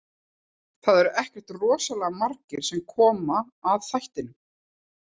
Það eru ekkert rosalega margir sem koma að þættinum.